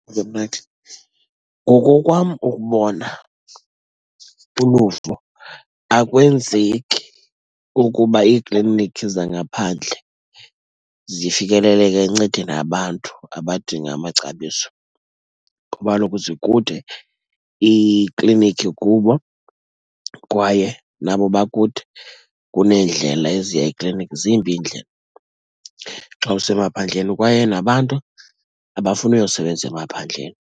Ngokokwam ukubona uluvo, akwenzeki ukuba iiklinikhi zangaphandle zifikeleleke ekuncedeni abantu abadinga amacabiso, kuba kaloku zikude iiklinikhi kubo, kwaye nabo bakude kuneendlela eziya ekliniki. Zimbi iindlela xa usemaphandleni, kwaye nabantu abafuni uyosebenza emaphandleni.